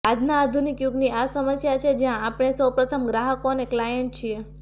આજના આધુનિક યુગની આ સમસ્યા છે જ્યાં આપણે સૌ પ્રથમ ગ્રાહકો અને ક્લાયન્ટ છીએ